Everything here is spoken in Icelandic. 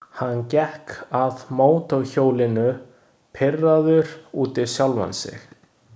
Hann gekk að mótorhjólinu, pirraður út í sjálfan sig.